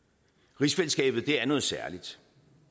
rigsfællesskabet er noget særligt